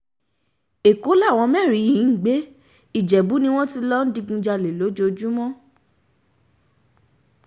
ẹ̀kọ́ làwọn mẹ́rin yìí ń gbé ìjẹ̀bù ni wọ́n ti ń lọọ digunjalè lójoojúmọ́